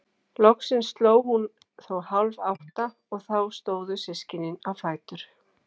Loksins sló hún þó hálf átta og þá stóðu systkinin á fætur.